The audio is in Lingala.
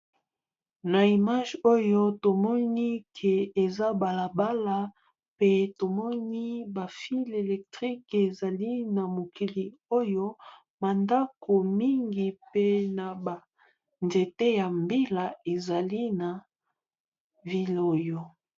na image oyo tomoni ke eza balabala pe tomoni bafile electrique ezali na mokili oyo mandako mingi mpe na banzete ya mbila ezali na vile oyo